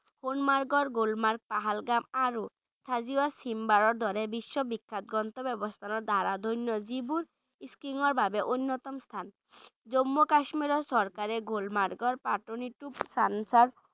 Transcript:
সোণমাৰ্গৰ গুলমাৰ্গ, পহলগাম আৰু থাজিৱাছ হিমবাহৰ দৰে বিশ্ববিখ্যাত গন্তব্যস্থানৰ দ্বাৰা ধন্য যিবোৰ skiing ৰ বাবে অন্যতম স্থান জম্মু কাশ্মীৰৰ চৰকাৰে গুলমাৰ্গৰ পতনিটোপ সনসৰ